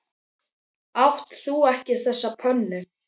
Átt þú ekki þessa pönnu?